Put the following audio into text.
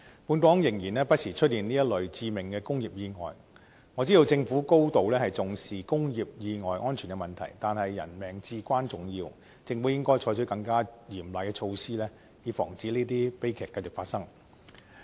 本港不時出現這一類致命的工業意外，我知道政府高度重視工業安全問題，但是人命至關重要，政府應該採取更嚴厲的措施，以防止這些悲劇繼續發生。